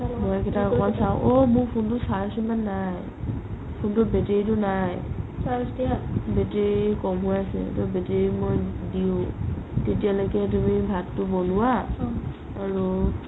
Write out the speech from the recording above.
মই এইকেইটাক অকমাণ চাও ঔ মোৰ phone টোৰ charge সিমান নাই phone টোৰ battery টো নাই battery ক'ম হৈ আছে battery মই দিও তেতিয়া লৈকে তুমি ভাতটো বনোৱা আৰু